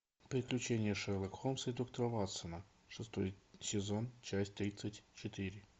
приключения шерлока холмса и доктора ватсона шестой сезон часть тридцать четыре